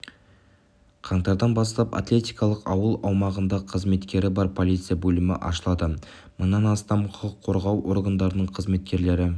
қаңтардан бастап атлетикалық ауыл аумағында қызметкері бар полиция бөлімі ашылады мыңнан астам құқық қорғау органдарының қызметкерлері